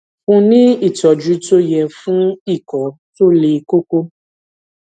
fún un ní ìtọjú tó yẹ fún ikọ tó le koko